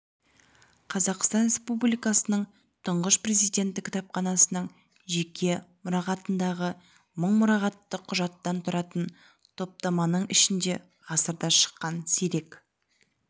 қазақстан республикасының тұңғыш президенті кітапханасының жеке мұрағатындағы мың мұрағаттық құжаттан тұратын топтаманың ішінде ғасырда шыққан сирек